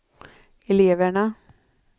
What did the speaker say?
eleverna